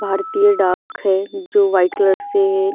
भारतीय डाक है जो वाइट कलर से इस--